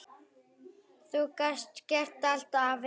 Þú gast gert allt, afi.